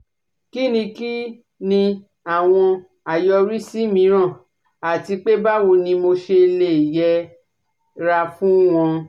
Kí ni Kí ni àwọn àyọrísí mìíràn àti pé báwo ni mo ṣe lè yẹra fún wọn